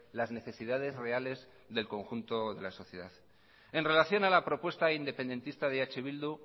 las necesidades reales del conjunto de la sociedad en relación a la propuesta independentista de eh bildu